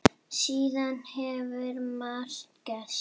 Síðan hefur margt gerst.